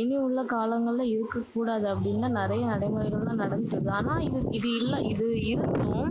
இனி உள்ள காலங்களில இருக்ககூடாது, அப்படின்னு நிறைய நடைமுறைகள் எல்லாம் நடந்துட்டு இருக்கு. ஆனா இது இல்ல~ இது இருந்தும்,